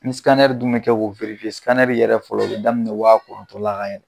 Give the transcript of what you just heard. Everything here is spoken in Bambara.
Ni dun bɛ kɛ k'o yɛrɛ fɔlɔ o bɛ daminɛ wa kɔnɔtɔn la ka yɛlɛ.